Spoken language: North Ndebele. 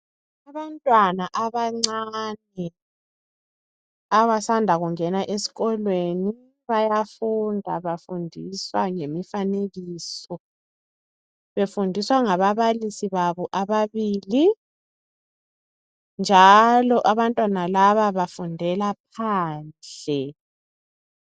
Abantwana abancane abasanda kungena esikolweni bayafunda bafundiswa ngemifanekiso befundiswa ngababalisi babo ababili njalo abantwana laba bafundela phandle.